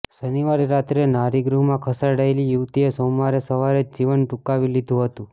શનિવારે રાતે નારીગૃહમાં ખસેડાયેલી યુવતિએ સોમવારે સવારે જ જીવન ટુંકાવી લીધું હતું